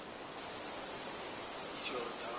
jordani